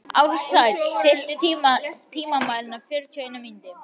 Ársæll, stilltu tímamælinn á fjörutíu og eina mínútur.